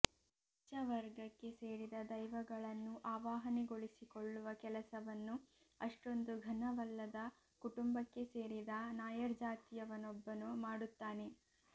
ಉಚ್ಛವರ್ಗಕ್ಕೆ ಸೇರಿದ ದೈವಗಳನ್ನು ಆವಾಹನೆಗೊಳಿಸಿಕೊಳ್ಳುವ ಕೆಲಸವನ್ನು ಅಷ್ಟೊಂದು ಘನವಲ್ಲದ ಕುಟುಂಬಕ್ಕೆ ಸೇರಿದ ನಾಯರ್ಜಾತಿಯವನೊಬ್ಬನು ಮಾಡುತ್ತಾನೆ